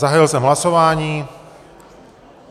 Zahájil jsem hlasování.